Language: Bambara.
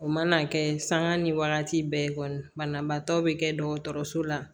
O mana kɛ sanŋa ni wagati bɛɛ kɔni banabaatɔ bɛ kɛ dɔgɔtɔrɔso la